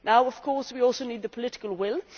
Now, of course, we also need the political will.